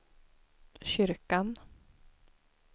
kyrkan